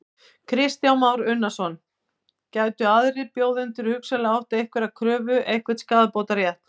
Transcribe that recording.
Það er hægt að gleyma regnhlíf í fatahengi og týna seðlaveski úr jakkavasa